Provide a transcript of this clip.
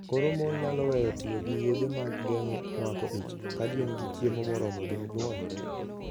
Koro mon nyalo weyo tiyo gi yedhe mag geng'o mako ich, ka gin gi chiemo moromogi nyuol.